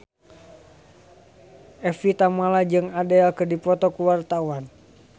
Evie Tamala jeung Adele keur dipoto ku wartawan